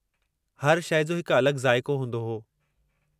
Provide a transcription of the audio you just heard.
हर शइ जो हिकु अलॻि ज़ाइक़ो हूंदो हो।